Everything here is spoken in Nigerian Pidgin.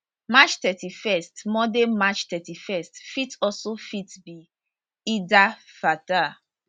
march thirty first monday march thirty first fit also fit be id el fitr